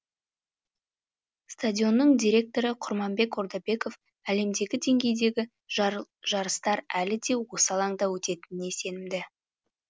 стадионның директоры құрманбек ордабеков әлемдегі деңгейдегі жарыстар әлі де осы алаңда өтетініне сенімді